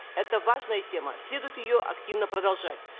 это важная тема следует ее активно продолжать